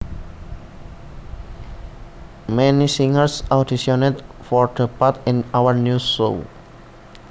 Many singers auditioned for the part in our new show